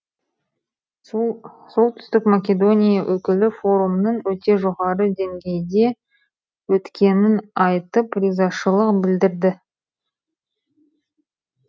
солтүстік македония өкілі форумның өте жоғары деңгейде өткенін айтып ризашылық білдірді